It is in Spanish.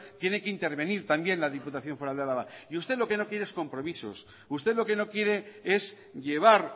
tiene que intervenir también la diputación foral de álava y usted lo que no quiere es compromisos usted lo que no quiere es llevar